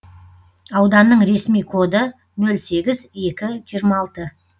ауданның ресми коды нөл сегіз екі жиырма алты